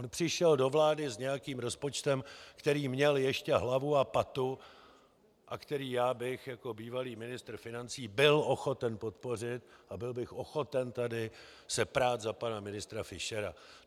On přišel do vlády s nějakým rozpočtem, který měl ještě hlavu a patu a který já bych jako bývalý ministr financí byl ochoten podpořit a byl bych ochoten tady se prát za pana ministra Fischera.